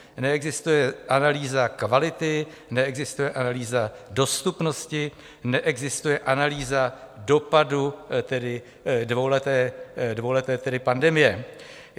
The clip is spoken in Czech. Neexistuje analýza kvality, neexistuje analýza dostupnosti, neexistuje analýza dopadu dvouleté pandemie.